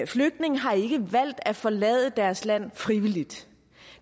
flygtninge har ikke valgt at forlade deres land frivilligt